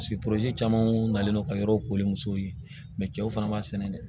caman kun nalen no ka yɔrɔ kori musow ye cɛw fana b'a sɛnɛ dɛ